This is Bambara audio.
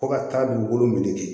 Fo ka taa dugukolo minɛ ten